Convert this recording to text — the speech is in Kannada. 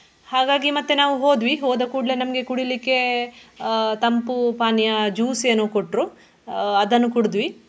ಹಾಗಾಗಿ ಮತ್ತೆ ನಾವು ಹೋದ್ವಿ ಹೋದ ಕೂಡ್ಲೆ ನಮ್ಗೆ ಕುಡಿಲಿಕ್ಕೆ ಆಹ್ ತಂಪು ಪಾನೀಯ juice ಏನೋ ಕೊಟ್ರು ಆಹ್ ಅದನ್ನು ಕುಡುದ್ವಿ.